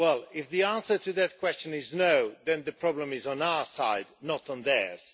If the answer to that question is no', then the problem is on our side, not on theirs.